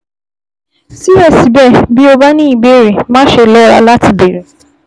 Síbẹ̀síbẹ̀, bí o bá ní ní ìbéèrè, máṣe lọ́ra láti béèrè